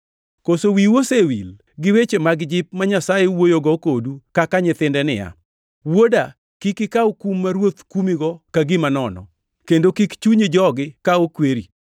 Koso wiu osewil gi weche mag jip ma Nyasaye wuoyogo kodu kaka nyithinde niya, “Wuoda kik ikaw kum ma Ruoth kumigo ka gima nono, kendo kik chunyi jogi ka okweri,